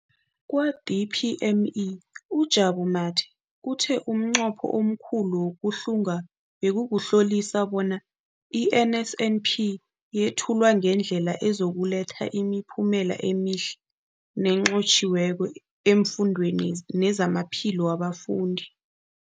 Kwa-DPME, uJabu Mathe, uthe umnqopho omkhulu wokuhlunga bekukuhlolisisa bona i-NSNP yethulwa ngendlela ezokuletha imiphumela emihle nenqotjhiweko efundweni nezamaphilo wabafundi.